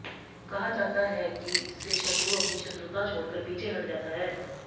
कहा जाता है कि इससे शत्रु अपनी शत्रुता छोड़कर पीछे हट जाता है